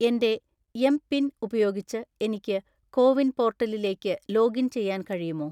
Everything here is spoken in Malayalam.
എന്റെ എംപിൻ ഉപയോഗിച്ച് എനിക്ക് കോവിൻ പോർട്ടലിലേക്ക് ലോഗിൻ ചെയ്യാൻ കഴിയുമോ?